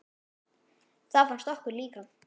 Það fannst okkur líka.